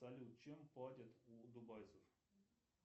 салют чем платят у дубайцев